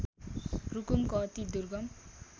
रुकुमको अति दूर्गम